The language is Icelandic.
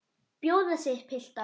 Bjóða sig, piltar.